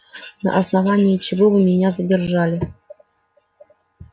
на основании чего вы меня задержали